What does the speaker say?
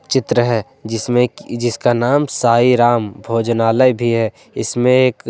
चित्र है जिसमें कि जिसका नाम साईं राम भोजनालय भी है इसमें एक --